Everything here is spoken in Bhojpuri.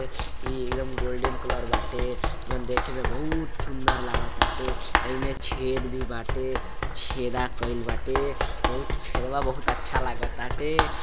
इ एकदम गोल्डन कलर बाटे जउन देख में बहुत सुंदर लागताटे अमें छेद भी बाटे छेदा कइल बाटे छेदवा बहुत अच्छा लागत बाटे।